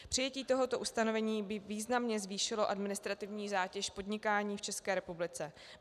Přijetí tohoto ustanovení by významně zvýšilo administrativní zátěž podnikání v České republice.